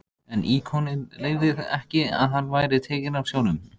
En íkoninn leyfði ekki að hann væri tekinn af sjónum.